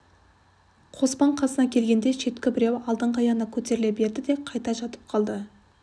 қоспан қасына келгенде шеткі біреуі алдыңғы аяғына көтеріле берді де қайта жатып қалды